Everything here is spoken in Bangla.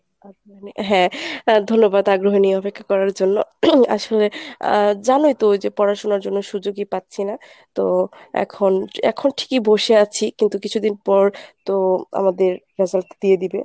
আহ মানে হ্যাঁ ধন্যবাদ আগ্রহ নিয়ে অপেক্ষা করার জন্য আসলে আহ জানোই তো ওই যে পড়াশুনার জন্য সুযোগই পাচ্ছি না তো এখন এখন ঠিকই বসে আছি কিন্তু কিছুদিন পর তো আমাদের result দিয়ে দিবে।